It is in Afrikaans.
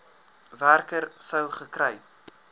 werker sou gekry